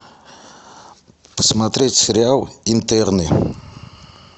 посмотреть сериал интерны